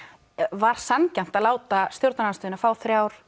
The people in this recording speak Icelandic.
var sanngjarnt að láta stjórnarandstöðuna fá þrjá